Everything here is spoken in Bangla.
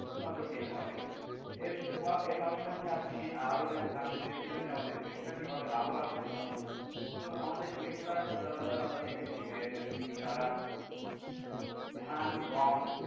শু নজর দিতে হবে এরপর পাশাপাশি আপনি আরো জানতে চেয়েছিলেন আমাদের কৃষিকরা কিভাবে লাভবান হতে পারে তো আমাদের কৃষকরা সচরাচর আমরা দেখেছি যে হম তারা ধান, গম,